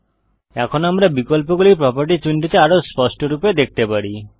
এখন আমরা বিকল্পগুলি প্রোপার্টিস উইন্ডোতে আরও স্পষ্টরূপে দেখতে পারি